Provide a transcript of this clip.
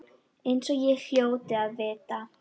Eins og ég hljóti að vita.